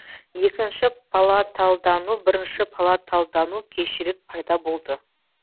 екінші палаталдану бірінші палаталдану кешірек пайда болды